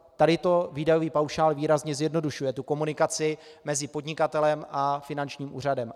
Tady to výdajový paušál výrazně zjednodušuje, tu komunikaci mezi podnikatelem a finančním úřadem.